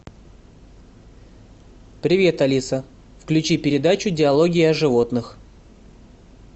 привет алиса включи передачу диалоги о животных